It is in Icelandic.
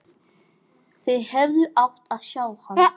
Þið hefðuð átt að sjá hann!